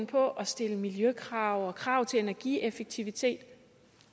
på at stille miljøkrav og krav til energieffektivitet